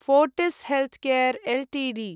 Fortis Healthcare Ltd